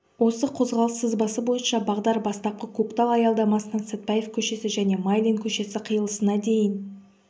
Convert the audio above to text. осы қозғалыс сызбасы бойынша бағдар бастапқы көктал аялдамасынан сатпаев көшесі және майлин көшесі қиылысына дейін